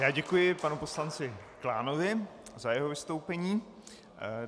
Já děkuji panu poslanci Klánovi za jeho vystoupení.